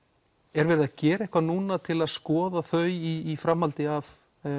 er verið að gera eitthvað núna til þess að skoða þau í framhaldi af